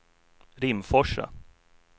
Rimforsa